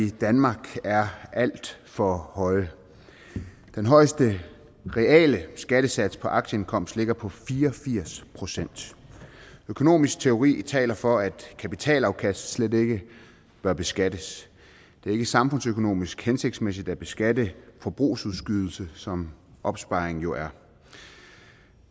i danmark er alt for høje den højeste reale skattesats på aktieindkomst ligger på fire og firs procent økonomisk teori taler for at kapitalafkast slet ikke bør beskattes det er ikke samfundsøkonomisk hensigtsmæssigt at beskatte forbrugsudskydelse som opsparing jo er